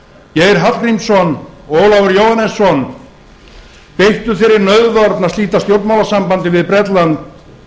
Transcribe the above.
geir hallgrímsson og ólafur jóhannesson beittu sér í nauðvörn að slíta stjórnmálasambandi við bretland